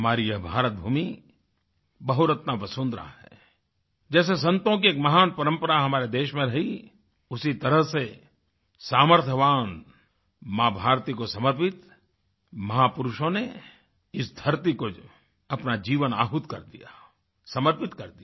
हमारी यह भारतभूमि बहुरत्ना वसुंधरा है जैसे संतों की एक महान परंपरा हमारे देश में रही उसी तरह से सामर्थ्यवान माँभारती को समर्पित महापुरुषों ने इस धरती को अपना जीवन आहुत कर दिया समर्पित कर दिया